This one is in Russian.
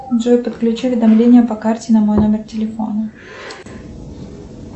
джой подключи уведомления по карте на мой номер телефона